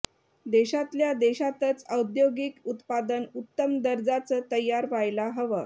देशातल्या देशातच औद्योगिक उत्पादन उत्तम दर्जाचं तयार व्हायला हवं